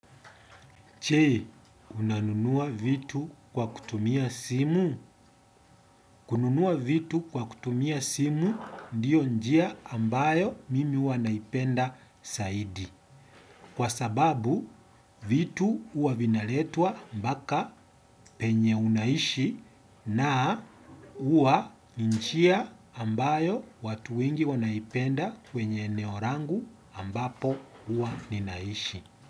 Je, unanunua vitu kwa kutumia simu? Kununua vitu kwa kutumia simu ndiyo njia ambayo mimi huwa naipenda zaidi. Kwa sababu, vitu huwa vinaletwa mpaka penye unaishi na huwa njia ambayo watu wengi wanaipenda kwenye eneo langu ambapo huwa ninaishi.